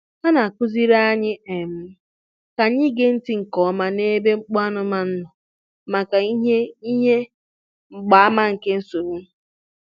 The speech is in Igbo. Ha na-akụziri anyị um ka anyị gee ntị nke ọma n'ebe mkpu anụmanụ nọ maka ihe ihe mgbaàmà nke nsogbu.